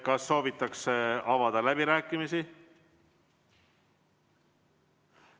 Kas soovitakse avada läbirääkimisi?